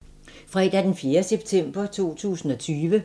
Fredag d. 4. september 2020